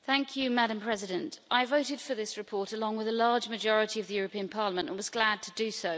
Madam President, I voted for this report, along with a large majority of the European Parliament, and was glad to do so.